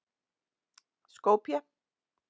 Skopje